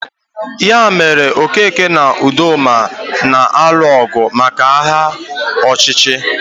Ya mere Okeke na Udoma na-alụ ọgụ maka aha ọchịchị